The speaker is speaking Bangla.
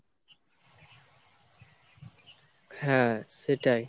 হ্যাঁ, সেটাই।